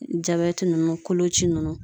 nunnu koloci nunnu .